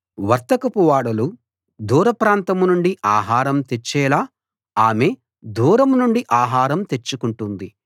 వర్తకపు ఓడలు దూర ప్రాంతం నుండి ఆహారం తెచ్చేలా ఆమె దూరం నుండి ఆహారం తెచ్చుకుంటుంది